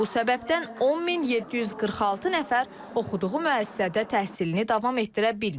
Bu səbəbdən 10746 nəfər oxuduğu müəssisədə təhsilini davam etdirə bilməyib.